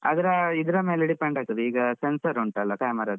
ಅದು ಇದ್ರ ಮೇಲೆ depend ಆಗ್ತದೆ ಈಗ, sensor ಉಂಟಲ್ಲ camera ದ್ದು.